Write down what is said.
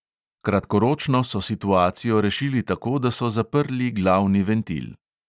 Kratkoročno so situacijo rešili tako, da so zaprli glavni ventil.